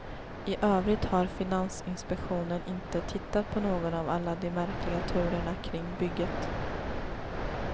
I övrigt har finansinspektionen inte tittat på någon av alla de märkliga turerna kring bygget.